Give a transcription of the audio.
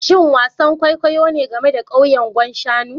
Shin wasan kwaikwayo ne game da kauyen Gwan Shanu